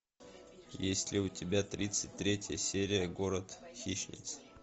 есть ли у тебя тридцать третья серия город хищниц